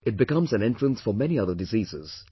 It becomes an entrance for many other diseases